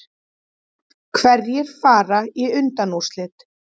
Hverjir fara í undanúrslit